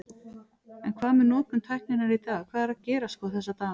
Telma: En hvað með notkun tækninnar í dag, hvað er að gerast sko þessa dagana?